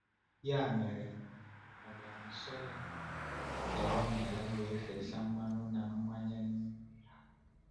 Ya mere, ọ bịara nso ya, tee ọnya ya, wee fesa mmanụ na mmanya n’ime ha.